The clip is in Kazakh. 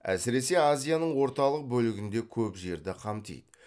әсіресе азияның орталық бөлігінде көп жерді қамтиды